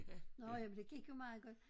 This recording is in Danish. Nåh ja men det gik jo meget godt